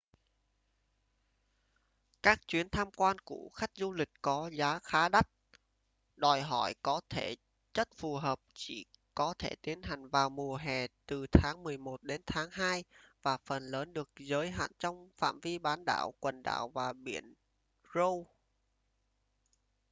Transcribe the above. các chuyến tham quan của khách du lịch có giá khá đắt đòi hỏi có thể chất phù hợp chỉ có thể tiến hành vào mùa hè từ tháng mười một đến tháng hai và phần lớn được giới hạn trong phạm vi bán đảo quần đảo và biển ross